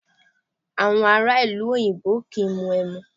Awọn ara ilu oyinbo kii mu emu